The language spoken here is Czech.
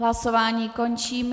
Hlasování končím.